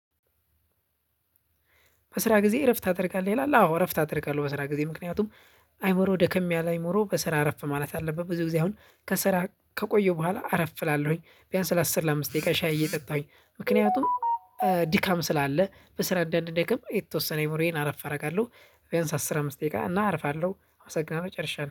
በስራ ጊዜ እረፍት ታድርጋለህ? ይላል አዎ እረፍት አደርጋለሁ በስራ ጊዜ። ምክንያቱም አእምሮ ደከም ያለ አእምሮ በስራ አረፍ ማለት አለበት። ብዙ ጊዜ አሁን ከስራ ከቆየሁ በኋላ አረፍ እላለሁኝ፤ ቢያንስ ለአስር ለአምስት ደቂቃ ሻይ እየጠጣሁኝ ምክንያቱም ድካም ስላለ በስራ አንዳንደክም የተወሰነ አእምሮዬን አረፍ አደርጋለሁ፤ ቢያንስ አስር አምስት ደቂቃ እና አርፋለሁ አመሰግናለሁ ጨርሻለሁ።